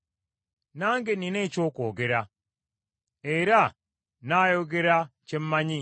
Nange nnina eky’okwogera, era nnaayogera kye mmanyi,